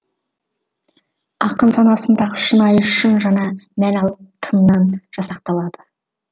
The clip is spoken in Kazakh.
ақын санасындағы шынайы шын жаңа мән алып тыңнан жасақталады